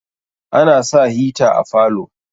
ana sa hita a falo